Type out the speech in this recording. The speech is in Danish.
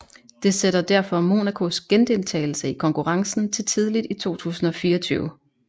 Det sætter derfor Monacos gendeltagelse i konkurrencen til tidligt i 2024